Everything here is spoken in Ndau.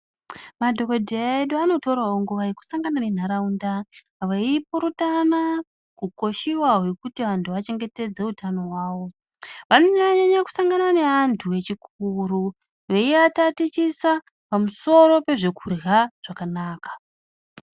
Madhokodheya edu anotorawo nguwa yekusangana nentaraunda veipurutana kukoshiwa hwekuti antu achengetedze utano hwawo vanonyanye kusangane nevanhu vechikuru veivatatichisa pamusoro pezve kurya zvakanaka.